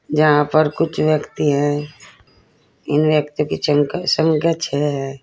जहां पर कुछ व्यक्ति हैं। इन व्यक्तियो की चंखा संख्या छे है।